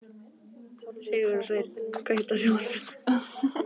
Sigursveinn, kveiktu á sjónvarpinu.